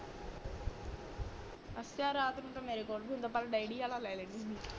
ਅੱਛਾ ਰਾਤ ਨੂੰ ਤਾ ਮੇਰੇ ਕੋਲ ਵੀ ਹੁੰਦਾ ਪਰ ਡੈਡੀ ਆਲਾ ਲੈ ਲੈਂਦੀ ਹੂ